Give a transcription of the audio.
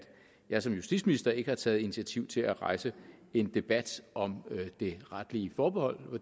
jeg som justitsminister ikke har taget initiativ til at rejse en debat om det retlige forbehold